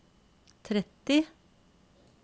tretti